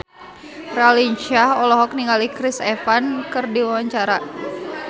Raline Shah olohok ningali Chris Evans keur diwawancara